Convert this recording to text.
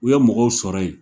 U ye mɔgɔw sɔrɔ yen